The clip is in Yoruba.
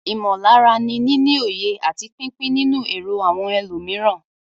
Ìmọ̀lára ni níní òye àti pípín nínú èrò àwọn ẹlòmíràn.